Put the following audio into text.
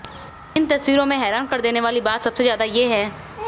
इन तस्वीरों में हैरान कर देने वाली बात सबसे ज्यादा ये है